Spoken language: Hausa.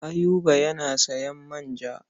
Ayuba yana sayan manja.